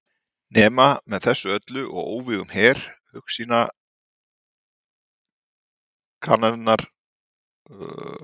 Nema með þessu öllu og óvígum her hugsýna kraminnar barnssálar.